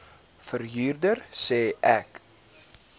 verhuurder sê ek